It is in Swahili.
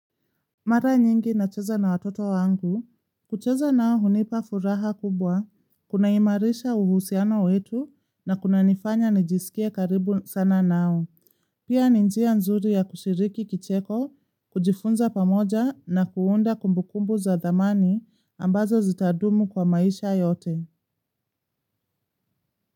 Mara nyingi nacheza na watoto wangu, kucheza nao hunipa furaha kubwa, kunaimarisha uhusiano wetu na kunanifanya nijisikie karibu sana nao, pia ni njia nzuri ya kushiriki kicheko, kujifunza pamoja na kuunda kumbukumbu za dhamani ambazo zitadumu kwa maisha yote.